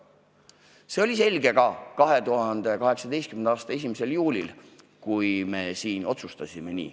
See oli selge ka 2018. aasta 1. juulil, kui me siin nii otsustasime.